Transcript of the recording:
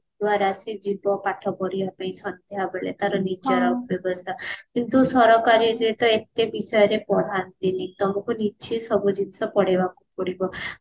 ଦ୍ଵାରା ସେ ଯିବ ପାଠ ପଢିବା ପାଇଁ ତାର ନିଜର ବ୍ୟବସ୍ତା କିନ୍ତୁ ସରକାରୀ ରେ ଏତେ ବିଷୟରେ ପଢାନ୍ତିନୀ ତ ନିଜେ ସବୁ ଜିନିଷ ପଢିବାକୁ ପଡିବ